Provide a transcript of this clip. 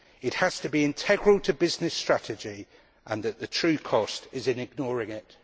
It has to be integral to business strategy and the true cost lies in ignoring it.